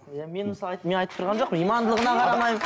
иә мен мысалы мен айтып тұрған жоқпын имандылығына қарамаймын